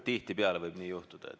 Tihtipeale võib nii juhtuda.